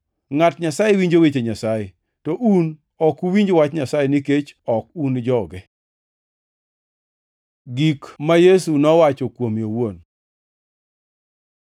Ngʼat Nyasaye winjo weche Nyasaye, to un ok uwinj wach Nyasaye nikech ok un joge.” Gik ma Yesu nowacho kuome owuon